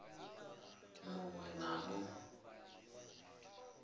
mu ṅ we na mu